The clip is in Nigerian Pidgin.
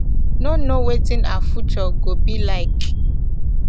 no know wetin her future go be like